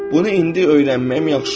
Bunu indi öyrənməyim yaxşı oldu.